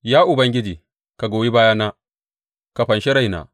Ya Ubangiji, ka goyi bayana; ka fanshi raina.